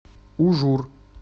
ужур